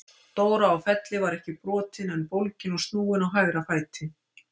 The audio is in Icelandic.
Dóra á Felli var ekki brotin en bólgin og snúin á hægra fæti.